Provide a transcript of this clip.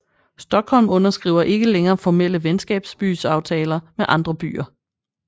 Stockholm underskriver ikke længere formelle venskabsbyaftaler med andre byer